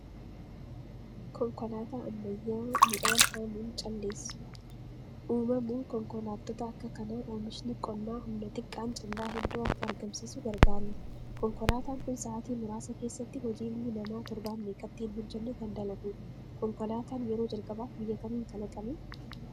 Konkolaataa ammayyaa midhaan haamuun calleessu. Uumamuun konkolaattota Akka kanaa oomishni qonnaa humna xiqqaan callaa hedduu akka argamsiisu gargaareera. Konkolaataan kun sa'atii muraasa keessatti hojii ilmi namaa torban meeqatti hin hojjenne kan dalagudha. Konkolaataan yeroo jalqabaaf biyya kamiin kalaqame?